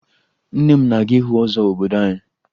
Nne m na-aga ịhụ ọzọ obodo anyị